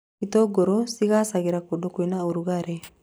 Itũngũrũ cigaacagĩra kũndũ kwĩna rugarĩ